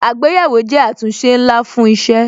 Àgbéyẹ̀wò jẹ́ àtúnṣe ńlá fún isẹ